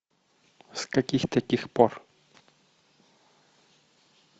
с каких таких пор